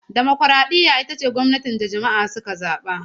Dimokuraɗiyya ita ce gwamnatin da jama'a suka zaba.